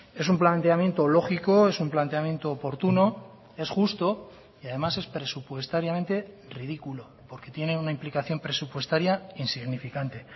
es un planteamiento lógico es un planteamiento oportuno es justo y además es presupuestariamente ridículo porque tiene una implicación presupuestaria insignificante